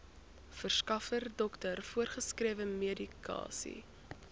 verskaffer dokter voorgeskrewemedikasie